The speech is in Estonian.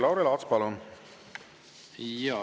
Lauri Laats, palun!